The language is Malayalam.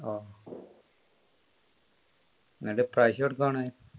ഓ എന്നിട്ട് പൈസ കൊടുക്കുവാണോ